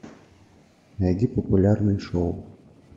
найди популярные шоу